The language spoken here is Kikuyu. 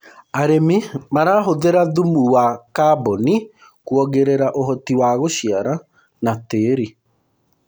arĩmi marahuthira thumu wa carbon kuongerera uhoti wa guciara na tĩĩri